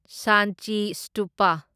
Sanchi Stupa